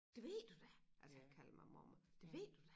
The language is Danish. Det ved du da altså han kalder mig mormor det ved du da